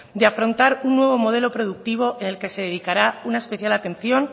de afrontar un nuevo productivo en el que se dedicará una especial atención